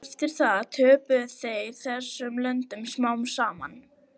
Eftir það töpuðu þeir þessum löndum smám saman.